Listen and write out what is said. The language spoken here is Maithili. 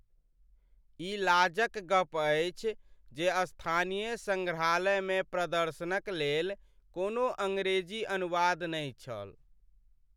ई लाज क गप अछि जे स्थानीय संग्रहालयमे प्रदर्शनक लेल कोनो अंग्रेजी अनुवाद नहि छल।